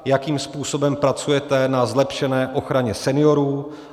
Jakým způsobem pracujete na zlepšené ochraně seniorů?